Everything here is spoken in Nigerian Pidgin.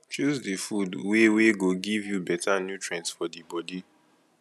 choose di food wey wey go give you better nutrients for di bodi